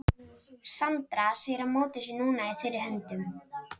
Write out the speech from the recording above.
Sandra segir að mótið sé núna í þeirra höndum.